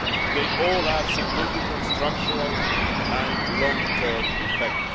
They all have significant structural and long term effects.